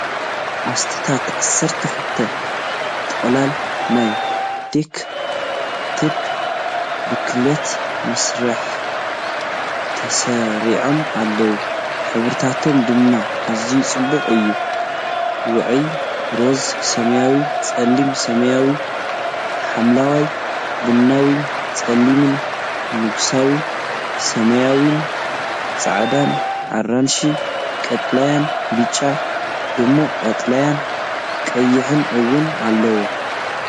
ኣስታት 12 ጥቕላል ናይ ዳክ ቴፕ ብኽልተ መስርዕ ተሰሪዖም ኣለዉ፣ ሕብርታቶም ድማ ኣዝዩ ጽቡቕ እዩ፣ ውዑይ ሮዛ፣ ሰማያዊ፣ ጸሊም ሰማያዊ/ሐምላይ፣ ቡናዊ፣ ጸሊምን ንጉሳዊ ሰማያውን። ጻዕዳ፡ ኣራንሺ፡ ቀጠልያ፡ ብጫ፡ ድሙቕ ቀጠልያን ቀይሕን እውን ኣለዉ።